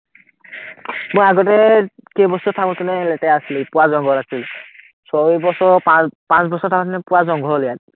মই আগতে কেইবছৰ থাকোতে নে পুৰা লেতেৰা আছিলে, পুৰা জংঘল আছিলে, so এই বছৰ পাঁচ বছৰ পুৰা জংঘল ইয়াত